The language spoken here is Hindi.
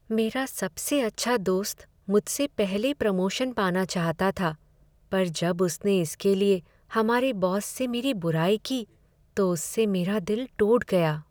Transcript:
मेरा सबसे अच्छा दोस्त मुझसे पहले प्रमोशन पाना चाहता था पर जब उसने इसके लिए हमारे बॉस से मेरी बुराई की तो उससे मेरा दिल टूट गया।